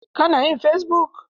Ka na yin fesibuk?